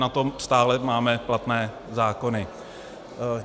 Na to stále máme platné zákony.